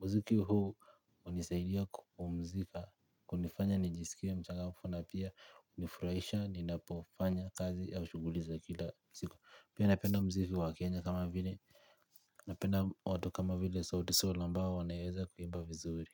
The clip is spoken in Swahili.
Mziki huu hunisaidia kupumzika kunifanya nijisikie mchangamfu na pia hunifurahisha ninapofanya kazi au shuguli zakila siku. Pia napenda mziki wa kenya kama vile napenda watu kama vile sauti sol ambao wanaweza kuimba vizuri.